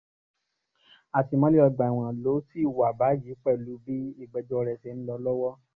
àtìmọ́lé ọgbà ẹ̀wọ̀n ló ṣì wà báyìí pẹ̀lú bí ìgbẹ́jọ́ rẹ̀ ṣe ń lọ lọ́wọ́